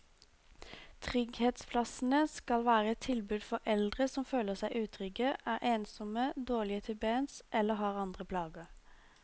Trygghetsplassene skal være et tilbud for eldre som føler seg utrygge, er ensomme, dårlige til bens eller har andre plager.